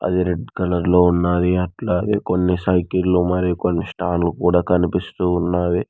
అది రెడ్ కలర్లో ఉన్నాది అట్లాగే కొన్ని సైకిళ్లు మరి కొన్ని స్టాండ్లు కూడా కనిపిస్తూ ఉన్నాది.